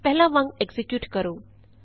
ਪਹਿਲਾਂ ਵਾਂਗ ਐਕਜ਼ੀਕਿਯੂਟ ਕਰੋ